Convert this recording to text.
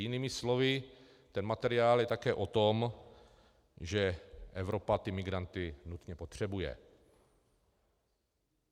Jinými slovy, ten materiál je také o tom, že Evropa ty migranty nutně potřebuje.